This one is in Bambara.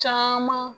Caman